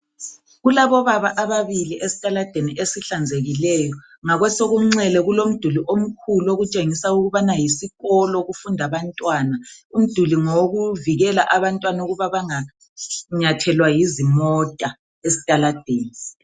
Kulabobaba ababili esitaladeni ezihlanzekileyo ngakwesokunxele kulomduli omkhulu okutshengisa ukuthi yisikolo okufunda abantwana. Umduli ngowokuvikela abantwana ukuba banganyathelwa yizimota esitaladeni.